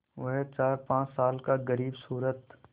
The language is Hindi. वह चारपाँच साल का ग़रीबसूरत